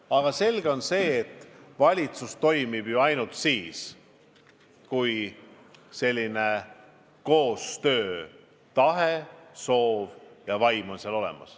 Aga selge on see, et valitsus toimib ainult siis, kui koostöötahe ja -vaim on seal olemas.